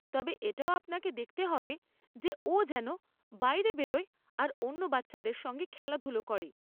তবে এটাও আপনাকে দেখতে হবে যে ও যেন বাইরে বেরোয় আর অন্য বাচ্চাদের সঙ্গে খেলাধুলো করে।